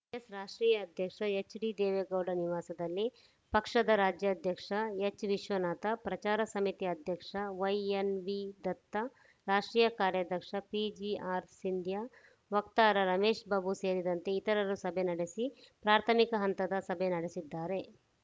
JDS ರಾಷ್ಟ್ರೀಯ ಅಧ್ಯಕ್ಷ ಎಚ್‌ಡಿದೇವೇಗೌಡ ನಿವಾಸದಲ್ಲಿ ಪಕ್ಷದ ರಾಜ್ಯಾಧ್ಯಕ್ಷ ಎಚ್‌ವಿಶ್ವನಾಥ ಪ್ರಚಾರ ಸಮಿತಿ ಅಧ್ಯಕ್ಷ ವೈಎಸ್‌ವಿದತ್ತ ರಾಷ್ಟ್ರೀಯ ಕಾರ್ಯಾಧ್ಯಕ್ಷ ಪಿಜಿಆರ್‌ಸಿಂಧ್ಯಾ ವಕ್ತಾರ ರಮೇಶ್‌ ಬಾಬು ಸೇರಿದಂತೆ ಇತರರು ಸಭೆ ನಡೆಸಿ ಪ್ರಾಥಮಿಕ ಹಂತದ ಸಭೆ ನಡೆಸಿದ್ದಾರೆ